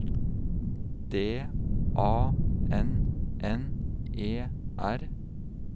D A N N E R